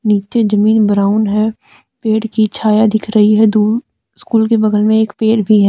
नीचे जमीन ब्राउन है पेड़ की छाया दिख रही है दूर स्कूल के बगल में एक पेड़ भी है।